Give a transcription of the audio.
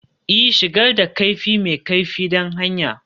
Ee, shigar da kaifi mai kaifi don hanya